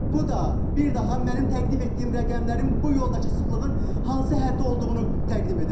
Bu da bir daha mənim təqdim etdiyim rəqəmlərin bu yoldakı sıxlığın hansı həddə olduğunu təqdim edir.